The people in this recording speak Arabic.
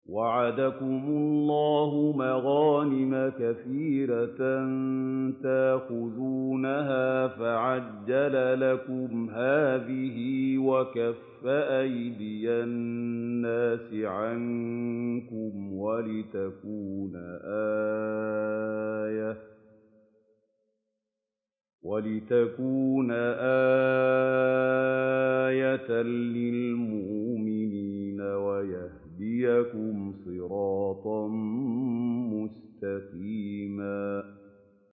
وَعَدَكُمُ اللَّهُ مَغَانِمَ كَثِيرَةً تَأْخُذُونَهَا فَعَجَّلَ لَكُمْ هَٰذِهِ وَكَفَّ أَيْدِيَ النَّاسِ عَنكُمْ وَلِتَكُونَ آيَةً لِّلْمُؤْمِنِينَ وَيَهْدِيَكُمْ صِرَاطًا مُّسْتَقِيمًا